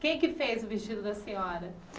Quem é que fez o vestido da senhora?